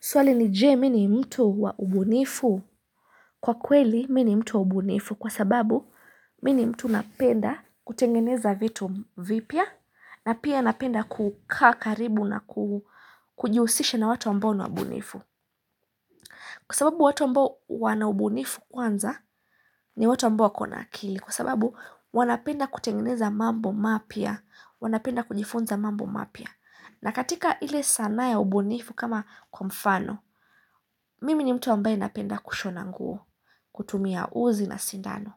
Swali ni je mii ni mtu wa ubunifu kwa kweli mii mtu wa ubunifu kwa sababu mimi mtu napenda kutengeneza vitu vipya na pia napenda kukakaribu na kujihusisha na watu ambao una ubunifu. Kwa sababu watu ambao wana ubunifu kwanza ni watu ambao wakona akili kwa sababu wanapenda kutengeneza mambo mapya, wanapenda kujifunza mambo mapya. Na katika ile sanaa ya ubunifu kama kwa mfano, mimi ni mtu ambaye napenda kushona nguo, kutumia uzi na sindano.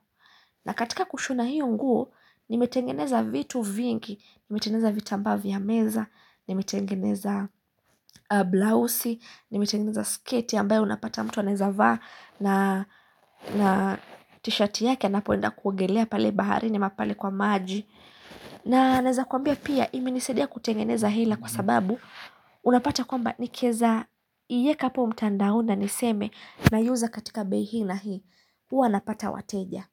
Na katika kushona hiyo nguo, nimetengeneza vitu vingi, nimetengeneza vitambaa vya meza, nimetengeneza blouse, nimetengeneza sketi ambayo unapata mtu anaweza vaa na t-shirt yake anapoenda kuongelea pale bahari ni ama pale kwa maji. Na naeza kwambia pia ime nisadia kutengeneza hela kwa sababu Unapata kwamba nikeza ieka po mtandaoni niseme na iuza katika bei hii na hii Uwa napata wateja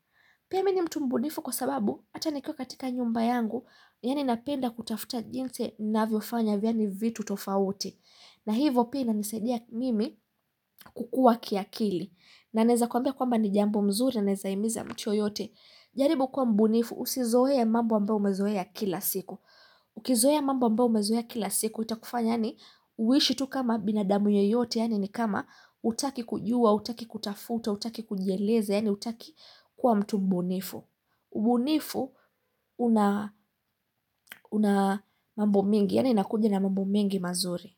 Pia mini mtumbunifu kwa sababu hata nikua katika nyumba yangu Yani napenda kutafuta jinsi na ninaofanya fanyavitu tofauti na hivo pia inanisaidia mimi kukua kiakili na naeza kwambia kwamba ni jambo mzuri na ninawezaimiza mtu yoyote jaribu kwa mbunifu usizoee ya mambo ambayo umezoe ya kila siku Ukizoe ya mambo ambayo umezoe ya kila siku Itakufanya ni uishi tu kama binadamu yeyote Yani ni kama hutaki kujua, hutaki kutafuta, hutaki kujieleza Yani utaki kwa mtu mbunifu mbunifu una mambo mengi Yani inakuja na mambo mengi mazuri.